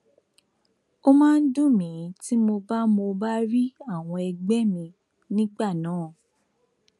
ó máa ń dùn mí tí mo bá mo bá rí àwọn ẹgbẹ mi nígbà náà